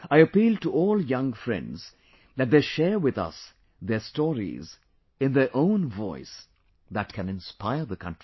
I appeal to all young friends that they share with us their stories in their own voice that can inspire the country